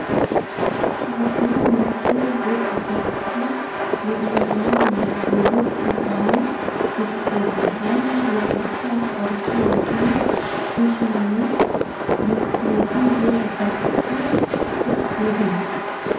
шығасының мөлшер жер учаскесінің берілуіне мүдделі тұлғамен келісіледі және жергілікті атқарушы органның шешімімен бекітілетін жер учаскесіне құқық беру